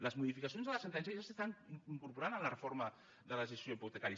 les modificacions de la sentència ja s’estan incorporant a la reforma de la legislació hipotecària